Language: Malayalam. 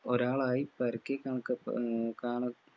ഒരാളായ്‌ കണക്കപ് ആഹ് കാണ